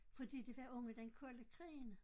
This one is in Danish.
Fordi det var under den kolde krigen